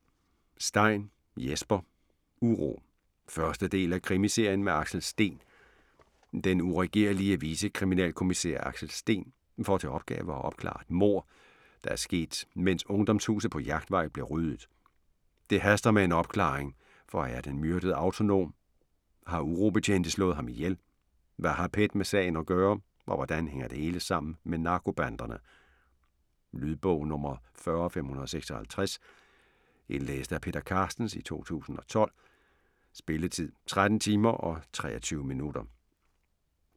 Stein, Jesper: Uro 1. del af krimiserien med Axel Steen. Den uregerlige vicekriminalkommissær Axel Steen får til opgave at opklare et mord, der er sket, mens Ungdomshuset på Jagtvej blev ryddet. Det haster med en opklaring, for er den myrdede autonom? Har urobetjente slået ham ihjel? Hvad har PET med sagen at gøre, og hvordan hænger det hele sammen med narkobanderne? Lydbog 40556 Indlæst af Peter Carstens, 2012. Spilletid: 13 timer, 23 minutter.